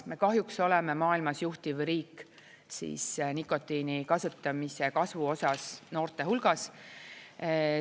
Me kahjuks oleme maailmas juhtiv riik nikotiini kasutamise kasvu osas noorte hulgas.